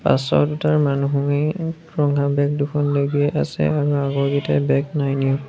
পাছৰ দুটাৰ মানুহেই ৰঙা বেগ দুখন লৈ গৈ আছে আৰু আগৰ গিতাই বেগ নাই নিয়া।